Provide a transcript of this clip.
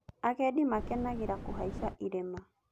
Agendi makenagĩra kũhaica irĩma.